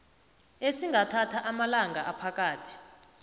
esingathatha amalanga aphakathi